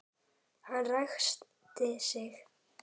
Hann ræskti sig.